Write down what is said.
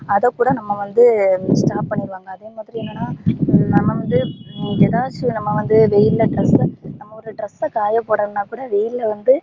அத கூட நம்ப வந்து stop பண்ணிருலாங்க அதே மாதிரி என்னனா நம்ப வந்து எதாச்சி நம்ப வந்து வெயில்ல நம்ம ஒரு dress ச காயபோடணும்னா கூட வெயில்ல வந்து